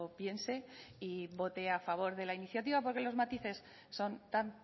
piense y vote a favor de la iniciativa porque los matices son tan